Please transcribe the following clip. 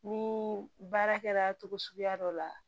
Ni baara kɛra togo suguya dɔ la